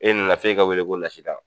E nana f'e ka weele ko Lasidan